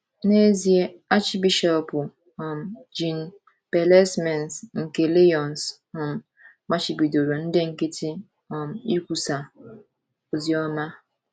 N’ezie, Achịbishọp um Jean Bellesmains nke Lyons um machibidoro ndị nkịtị um ikwusa oziọma.